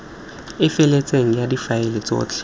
e feletseng ya difaele tsotlhe